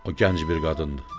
O gənc bir qadındır.